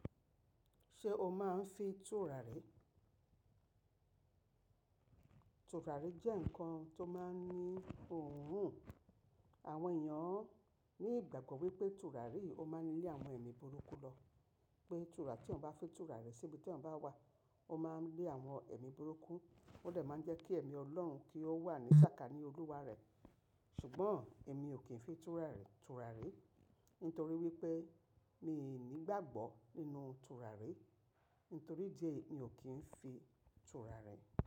Ṣé o máa ń fi tùràrí? Tùràrí jẹ́ ǹkan tó máa ń ní òórùn. Àwọn èèyàn ní ìgbàgbọ́ wípé tùràrí yìí o máa ń lé àwọn ẹ̀mí burúkú lọ. Pé tùràrí tí èyán ọ̀ bá fi tùrà rẹ síbi tí èyán bá wà, ó máa ń lé àwọn ẹ̀mí burúkú, ó lè máa ń jẹ́ kí ẹ̀mí ọlọ́run kí ó wà ní sàkání Olúwa rẹ̀. Ṣùgbọ́n, èmi ò kí ń fi tùràrí, tùràri nítorí wípé mi ò ní ìgbàgbọ́ nínú tùràrí. Nítorí idí èyí mi ò kí ń fi tùràrí.